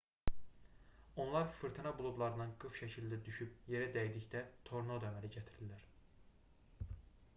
onlar fırtına buludlarından qıf şəklində düşüb yerə dəydikdə tornado əmələ gətirirlər